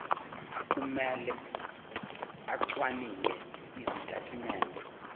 kumele acwaninge izitatimende